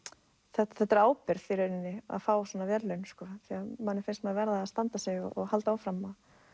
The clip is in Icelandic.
þetta þetta er ábyrgð í rauninni að fá svona verðlaun því manni finnst maður verða að standa sig og halda áfram